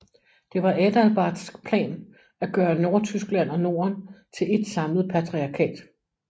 Det var Adalbarts plan at gøre Nordtyskland og Norden til et samlet patriarkat